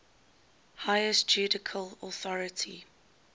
highest judicial authority